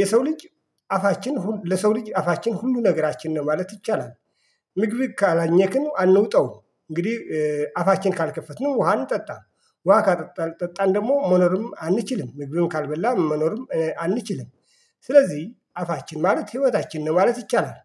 የሰው ልጅ አፋችን ለሰው ልጅ አፋችን ሁሉ ነገራችን ነው ማለት ይቻላል። ምግብ ካላኘክን አንውጠውም እንግዲህ አፋችን ካልከፈትንም ውሃን አንጠጣም ውሃ ካልጠጣን ደግሞ መኖርም አንችልም ምግብም ካልበላ መኖርም አንችልም። ስለዚህ አፋችን ማለት ህይወታችን ነው ማለት ይቻላል